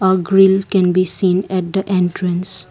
a grill can be seen at the entrance.